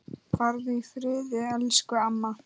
Farðu í friði, elsku amma.